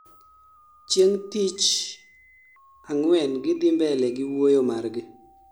chieng' tich ang'wen gidhii mbele gi wuoyo margi